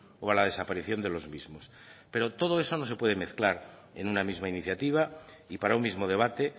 o a la desaparición de los mismos pero todo eso no se puede mezclar en una misma iniciativa y para un mismo debate